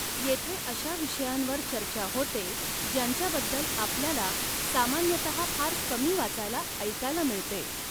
येथे अशा विषयांवर चर्चा होते ज्यांच्याबद्दल आपल्याला सामान्यतः फार कमी वाचायला ऐकायला मिळते.